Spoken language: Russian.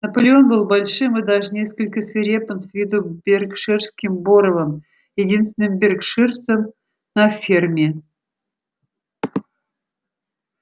наполеон был большим и даже несколько свирепым с виду беркширским боровом единственным беркширцем на ферме